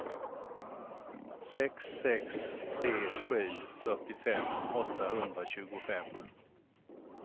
sex sex tre sju fyrtiofem åttahundratjugofem